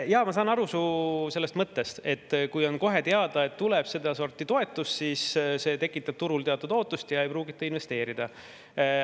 Jaa, ma saan aru su mõttest, et kui on teada, et tuleb sedasorti toetus, siis see tekitab turul teatud ootust ja ei pruugita investeerida.